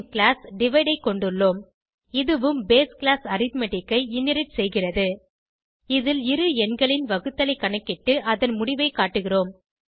பின் class divide ஐ கொண்டுள்ளோம் இதுவும் பேஸ் கிளாஸ் அரித்மெட்டிக் ஐ இன்ஹெரிட் செய்கிறது இதில் இரு எண்களின் வகுத்தலைக் கணக்கிட்டு அதன் முடிவை காட்டுகிறோம்